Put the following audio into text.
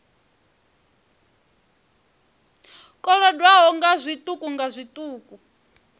kolodwaho nga zwiṱuku nga zwiṱuku